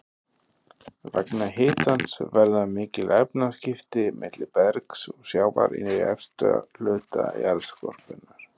Vegna hitans verða mikil efnaskipti milli bergs og sjávar í efsta hluta jarðskorpunnar.